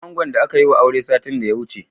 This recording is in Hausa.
Kira angon da aka yiwa aure satin da ya wuce.